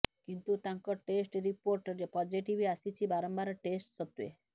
କିନ୍ତୁ ତାଙ୍କ test report positive ଆସିଛି ବାରମ୍ବାର ଟେଷ୍ଟ୍ ସତ୍ତ୍ବେ